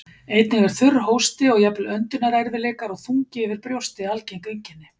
Einnig er þurr hósti og jafnvel öndunarerfiðleikar og þungi yfir brjósti algeng einkenni.